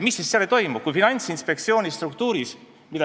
Miks siis seda ei toimu?